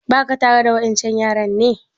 Ba ka tare da wa ƴan can yaran ne?